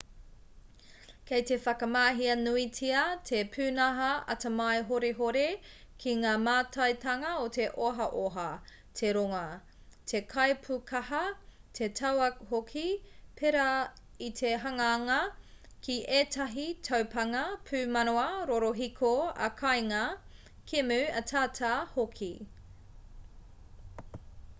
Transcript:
kei te whakamahia nuitia te pūnaha atamai horihori ki ngā mātaitanga o te ohaoha te rongoā te kaipūkaha te tauā hoki pērā i te hanganga ki ētahi taupānga pūmanawa rorohiko ā-kāinga kēmu ataata hoki